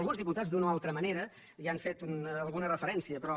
alguns diputats d’una o altra manera hi han fet alguna referència però